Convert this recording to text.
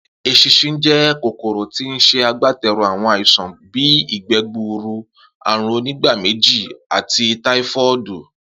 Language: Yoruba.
Es̩ins̩in jé̩ kòkòrò tí ó ń s̩e agbáte̩rù àwo̩n àìsàn bíi ìgbé̩ gburu, àrùn onígbaméjì, ati táífó̩ò̩dù,